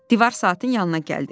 Divar saatın yanına gəldi.